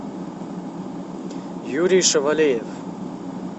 юрий шавалеев